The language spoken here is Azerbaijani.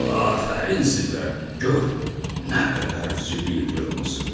Afərin sizə, gör nə qədər zibil yığmısız.